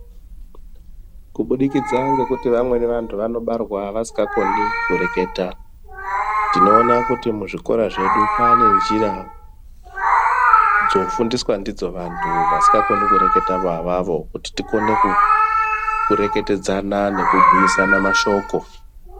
Kubudikidza ngekuti vamweni vantu vanobarwa vasingakoni kureketa tinoona kuti muzvikora zvedu pane njira dzofundiswa ndidzo vantu vasikakoni kureketa vo avavo kuti tikone ku kureketedzana nekubhuyiswna mashoko.